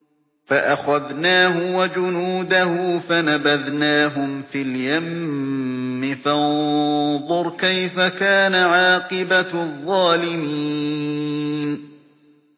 فَأَخَذْنَاهُ وَجُنُودَهُ فَنَبَذْنَاهُمْ فِي الْيَمِّ ۖ فَانظُرْ كَيْفَ كَانَ عَاقِبَةُ الظَّالِمِينَ